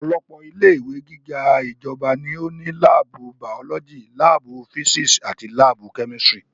Ọ̀pọ̀lọpọ̀ ilé ìwé gíga ti ìjọba ní ó ní láàbù bàọ́lọ́jì, láàbù físísì àti láàbù kẹ́mísítírì